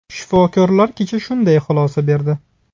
Shifokorlar kecha shunday xulosa berdi.